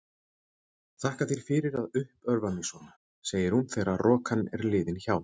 Þakka þér fyrir að uppörva mig svona, segir hún þegar rokan er liðin hjá.